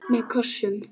Með kossum.